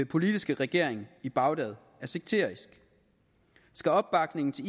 politiske regering i bagdad er sekterisk skal opbakningen til